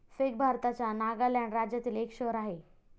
Fake भारताच्या नागालँड राज्यातील एक शहर आहे.